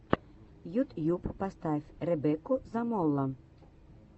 ютьюб поставь ребекку замоло